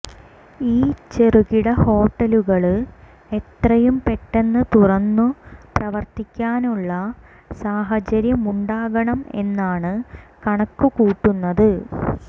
ഈ ചെറുകിട ഹോട്ടലുകള് എത്രയും പെട്ടന്ന് തുറന്നു പ്രവര്ത്തിക്കാനുള്ള സാഹചര്യമുണ്ടാക്കണം എന്നാണ് കണക്കുകൂട്ടുന്നത്